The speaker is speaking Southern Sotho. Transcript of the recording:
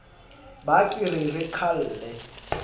ba ke re re qhalle